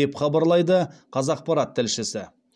деп хабарлайды қазақпарат тілшісі